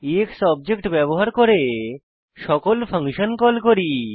x object ব্যবহার করে সকল ফাংশন কল করি